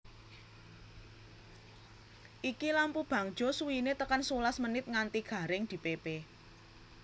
Iki lampu bangjo suwine tekan sewelas menit nganti garing dipepe